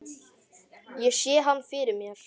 Ég sé hann fyrir mér.